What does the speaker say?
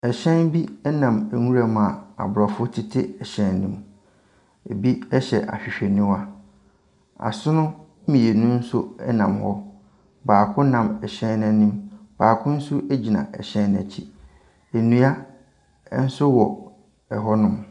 Hyɛn bi nam nwuram a aborɔfo tete hyɛn no mu. Ebi hyɛ ahwehwɛniwa. Asono mmienu nso nam hɔ. Baako nam hyɛn no anim, baako nso gyina hyɛn no akyi. Nnua nso wɔ hɔnom.